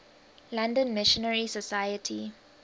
london missionary society